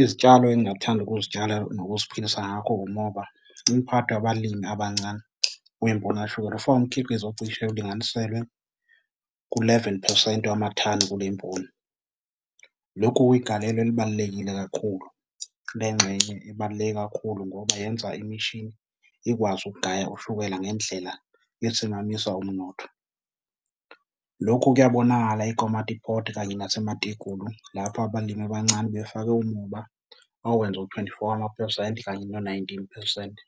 Izitshalo engingathanda ukuzitshala nokuziphilisa ngakho, umoba. Umphathi wabalimi abancane kwimboni kashukela ufaka umkhiqizo ocishe ulinganiselwe ku-eleven phesenti wemathani kule mboni. Lokhu kuyigalelo elibalulekile kakhulu. Le ngxenye ibaluleke kakhulu ngoba yenza imishini ikwazi ukugaya ushukela ngendlela esimamisa umnotho. Lokhu kuyabonakala eKomatipoort kanye naseMatigulu, lapho abalimi abancane befake umoba owenza u-twenty four wamaphesenti kanye no-nineteen phesenti.